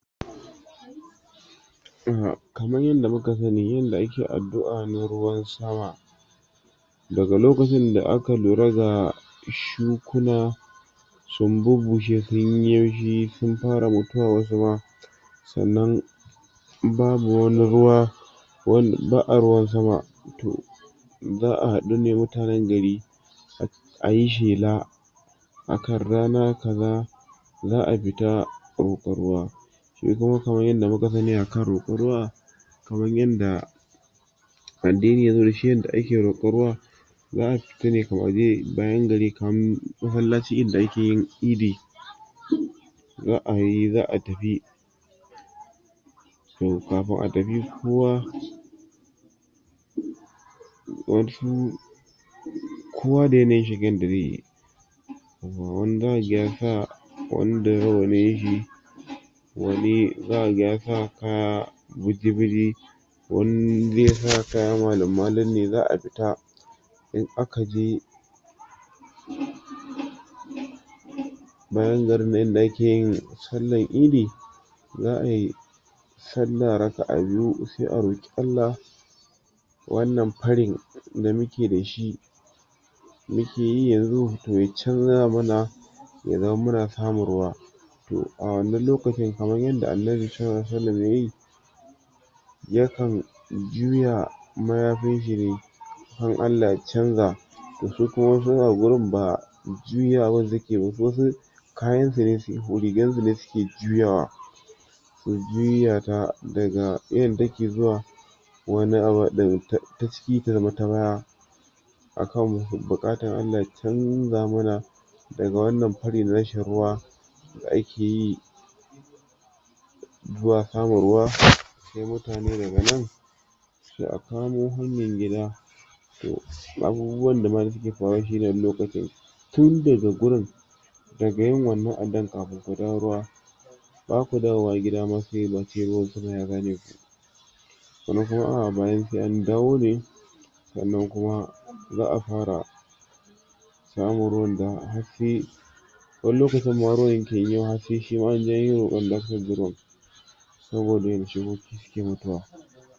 kamar yanda muka sani yanda ake addu'a na ruwan sama daga lokacinda aka lura ga shukuna sun bubusshe sunyi yaushi sun fara mutuwa wasu ma sa'anan babu wani ruwa wanda ba'a ruwan sama toh za'a hadune mutanen gari ayi shela akan rana kaza za'a fita rokon ruwa shikuma kaman yanda mukasani akan rokon ruwa kaman yanda addini yazo dashi yanda ake rokon ruwa za'a fitane waje bayan gari kamar masallacin idi da akeyin idi za'ayi za'a tafi toh kafin atafi kowa kowa da yanayin shigar dazeyi wani zakaga yasa wani da rawanin shi wani zakaga ya sa kaya buji buji wani ze sa kayan malum malum ne za'a fita in akaje bayan garin nan yanda akeyi sallar idi za'ayi sallah raka'a biyu sai a roki Allah wannan farin da muke dashi mukeyi yanzu toh ya canza mana ya zama muna samun ruwa to awannan lokacin kamar yanda Annabi sallalahu alaihi wa sallam yayi yakan juya mayafinshi ne kan Allah ya chanja to su kuma wasu a wurin ba juyawan suke wasu kayan sune rigar sune suke juyawa su juyata daga yanda take zuwa wani abar taciki tazamo ta baya akan bukatan Allah ya chanja mana daga wannan farin rashin ruwa da akeyi zuwa kama ruwa sai mutane daga nan sai akamo hanyar gida abubuwan da mayake faruwa shine wani lokacin tun daga gurin daga yin wannan addu'a kafin mu dawo ruwa baku dawowa gidama sai yawanci ruwan sama ya zaneku wasu kuma a'a bayan sai an dawo ne sa'anan kuma za'a fara samun ruwan da har sai wani lokacin ma ruwan yakewa har sai shima anje anyi rokon dakayar da ruwan